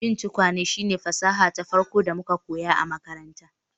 Yin tukwane shine fasaha ta farko da muka koya a makaranta